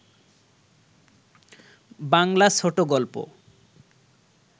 বাংলা ছোট গল্প